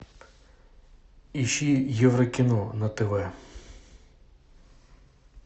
ищи еврокино на тв